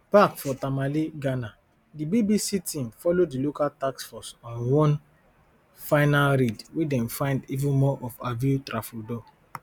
back for tamale ghana di bbc team follow di local task force on one final raid wey dem find even more of aveo tafrodol